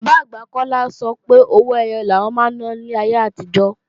Bàbá-àgbà Kọ́lá sọ pé owó ẹyọ làwọn máa ń ná láyé àtijọ́